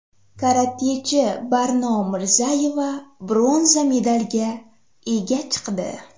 Karatechi Barno Mirzayeva bronza medalga ega chiqdi.